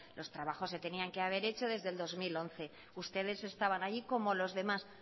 los trabajos se tenían que haber hecho desde el dos mil once ustedes estaban allí como los demás